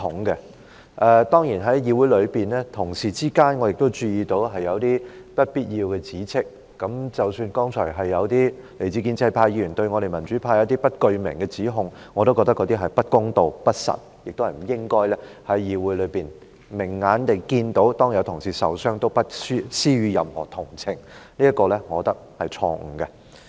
但是我注意到，議會內同事之間有不必要的指斥，包括剛才有些來自建制派的議員對民主派作出不具名的指控，我認為那些是不公道、不實，亦不應該在議會內提出的；他們明明眼睛已看到有議員受傷，也不施予任何同情，我認為這是錯誤的。